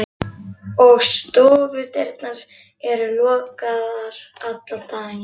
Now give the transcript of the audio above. Og stofudyrnar eru lokaðar allan daginn.